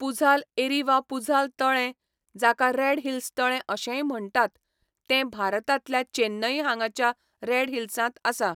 पुझाल एरी वा पुझाल तळें, जाका रेड हिल्स तळें अशेंय म्हण्टात, तें भारतांतल्या चेन्नई हांगाच्या रेड हिल्सांत आसा.